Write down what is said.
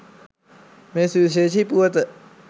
මේ සුවිශේෂීි පුවත